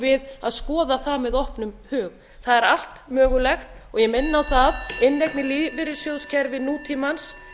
við að skoða það með opnum hug það er allt mögulegt og ég minni á það að inneign í lífeyrissjóðskerfi nútímans